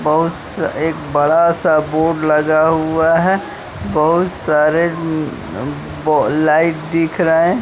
बहुत सा एक बड़ा सा बोर्ड लगा हुआ है बहुत सारे लाइट दिख रहे--